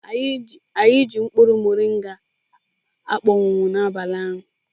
Anyị ji mkpụrụ moringa akpọnwụwo n'abalị ụnyaahụ.